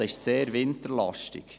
Adelboden ist sehr winterlastig.